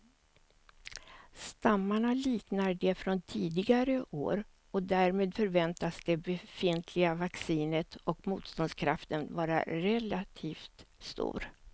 Stammarna liknar de från tidigare år och därmed förväntas det befintliga vaccinet och motståndskraften vara relativt stor.